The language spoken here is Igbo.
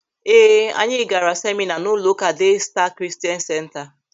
Ee, anyị gaara semịna n'ụlọụka Dee Staa Kristian Senta.